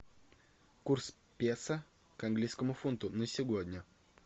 курс песо к английскому фунту на сегодня